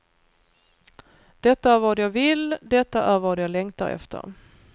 Detta är vad jag vill, detta är vad jag längtar efter.